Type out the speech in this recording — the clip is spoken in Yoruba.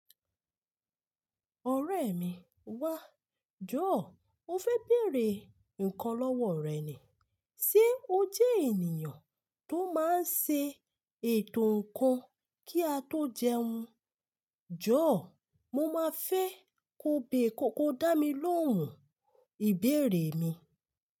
Ọ̀rẹ́ mi, wá, jọ̀ọ́ mo fẹ́ bèèrè nǹkan lọ́wọ́ rẹ ni. Ṣé o jẹ́ ènìyàn tó máa ń ṣe ètò ǹkan kí a tó jẹun? Jọ̀ọ́ mo máa fẹ́ ko bẹ́ẹ̀ kó kó dá mi lóhùn ìbéèrè mi.